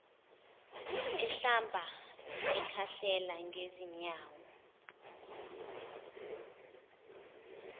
ehlamba ekhahlela ngezinyawo